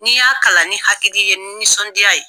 N'i y'a kalan ni hakili ye ni nisɔndiya ye